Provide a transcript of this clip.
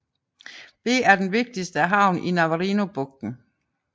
Det er den vigtigste havn i Navarinobugten